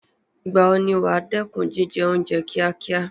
Ìgbà wo ni wà á dẹ́kun jíjẹ oúnjẹ kíákíá?